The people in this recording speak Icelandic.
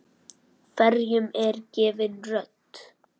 Hverjum er gefin rödd?